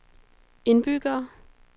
indbyggere